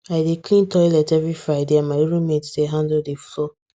i dey clean toilet every friday and my roommate dey handle the floor